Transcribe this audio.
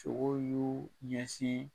Sogo y'u ɲɛsin